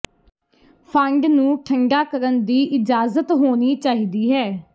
fund ਨੂੰ ਠੰਢਾ ਕਰਨ ਦੀ ਇਜਾਜ਼ਤ ਹੋਣੀ ਚਾਹੀਦੀ ਹੈ